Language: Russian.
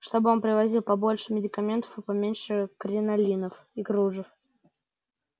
чтобы он привозил побольше медикаментов и поменьше кринолинов и кружев